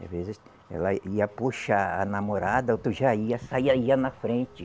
Às vezes, ela ia puxar a namorada, outro já ia, saía ia na frente.